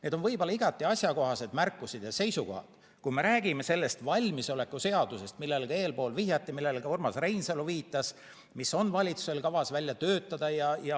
Need on võib-olla igati asjakohased märkused ja seisukohad, kui me räägime sellest valmisoleku seadusest, millele eespool vihjati ja millele ka Urmas Reinsalu viitas, mis on valitsusel kavas välja töötada.